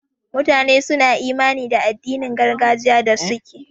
Mutane suna imani da addinin gargajiya da suke.